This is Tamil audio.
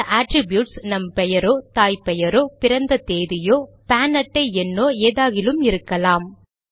இந்த அட்ரிப்யூட்ஸ் நம் பெயரோ தாய் தந்தை பெயரோ பிறந்த தேதியோ பான் அட்டை எண்ணோ ஏதாகிலும் இருக்கலாம்